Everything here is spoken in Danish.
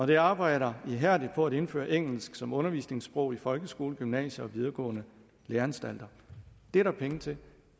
de arbejder ihærdigt på at indføre engelsk som undervisningssprog i folkeskolen gymnasier og på videregående læreanstalter det er der penge til